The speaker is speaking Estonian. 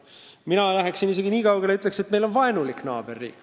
Mina läheksin isegi kaugemale ja ütleksin, et meie kõrval on vaenulik naaberriik.